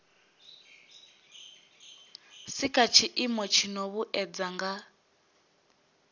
sika tshiimo tshino vhuedza nga